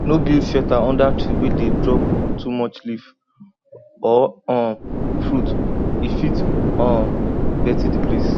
no build shelter under tree wey dey drop too much leaf or um fruit e fit um dirty the place